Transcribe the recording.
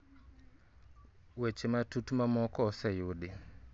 weche matut mamoko ose yudi